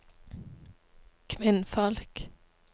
kvinnfolk